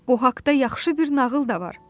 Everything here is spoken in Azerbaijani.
Bu haqda yaxşı bir nağıl da var.